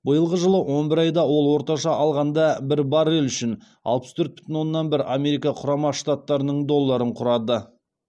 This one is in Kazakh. биылғы жылы он бір айда ол орташа алғанда бір баррель үшін алпыс төрт бүтін оннан бір америка құрама штаттарының долларын құрады